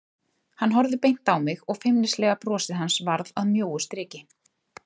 Hann horfði beint á mig og feimnislega brosið hans varð að mjóu striki.